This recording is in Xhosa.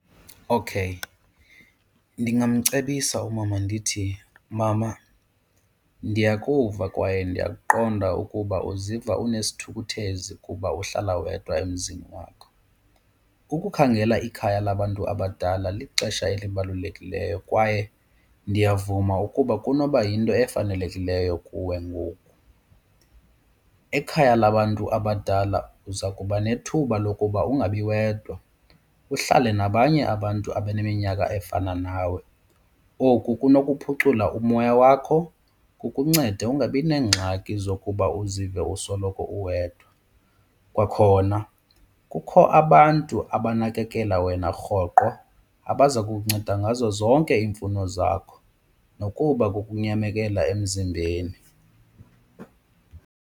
Okay, ndingamcebisa umama ndithi mama ndiyakuva kwaye ndiyakuqonda ukuba uziva unesithukuthezi kuba uhlala wedwa emzini wakho. Ukukhangela ikhaya labantu abadala lixesha elibalulekileyo kwaye ndiyavuma ukuba kunoba yinto efanelekileyo kuwe ngoku. Ekhaya labantu abadala uza kuba nethuba lokuba ungabiwedwa uhlale nabanye abantu abaneminyaka efana nawe. Oku kunokuphucula umoya wakho kukuncede ungabineengxaki zokuba uzive usoloko uwedwa. Kwakhona kukho abantu abanakekela wena rhoqo abazakunceda ngazo zonke iimfuno zakho nokuba kukunyamekela emzimbeni.